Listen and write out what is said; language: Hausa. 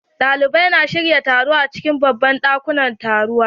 Ɗalibai na shirya taro a cikin babban dakunan taruwa